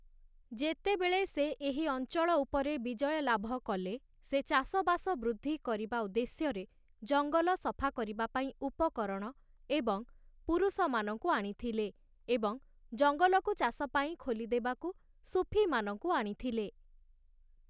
ଯେତେବେଳେ ସେ ଏହି ଅଞ୍ଚଳ ଉପରେ ବିଜୟ ଲାଭ କଲେ, ସେ ଚାଷବାସ ବୃଦ୍ଧି କରିବା ଭଦ୍ଦେଶ୍ୟରେ ଜଙ୍ଗଲ ସଫା କରିବା ପାଇଁ ଉପକରଣ ଏବଂ ପୁରୁଷମାନଙ୍କୁ ଆଣିଥିଲେ ଏବଂ ଜଙ୍ଗଲକୁ ଚାଷ ପାଇଁ ଖୋଲିଦେବାକୁ ସୁଫିମାନଙ୍କୁ ଆଣିଥିଲେ ।